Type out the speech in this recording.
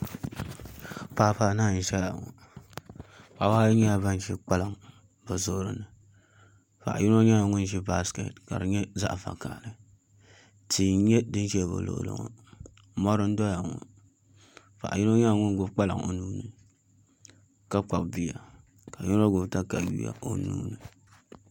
Paɣaba anahi n ʒɛya ŋɔ paɣaba ayi nyɛla ban ʒi kpalaŋ bi zuɣuri ni paɣa yino nyɛla ŋun ʒi baskɛt ka di nyɛ zaɣ vakaɣali tia n nyɛ din ʒɛ bi luɣuli ni ŋɔ mɔri n ʒɛya ŋɔ paɣa yino nyɛla ŋun gbubi kpalaŋ o nuuni ka kpabi bia ka yino gbubi katawiya o nuuni